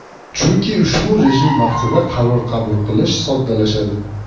Chunki ushbu rejim vaqtida qaror qabul qilish soddalashadi.